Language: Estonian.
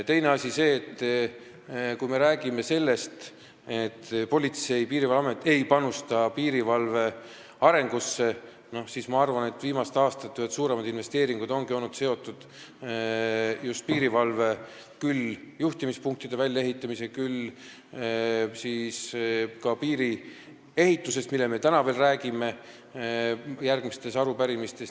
Teine asi, kui me räägime sellest, nagu Politsei- ja Piirivalveamet ei panustaks piirivalve arengusse, siis tuleb arvestada, et viimaste aastate ühed suuremad investeeringud ongi minu arvates olnud seotud just piirivalve juhtimispunktide väljaehitamisega ja ka piiriehitusega, millest me veel täna järgmistes punktides räägime.